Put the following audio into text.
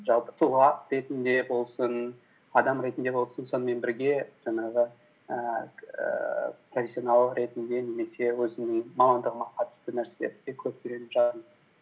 жалпы тұлға ретінде болсын адам ретінде болсын сонымен бірге жаңағы ііі профессионал ретінде немесе өзімнің мамандығыма қатысты нәрселерді де көп үйреніп жатырмын